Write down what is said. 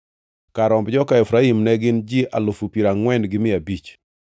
Kar romb joka Efraim ne gin ji alufu piero angʼwen gi mia abich (40,500).